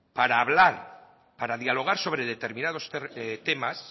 para hablar para dialogar sobre determinados temas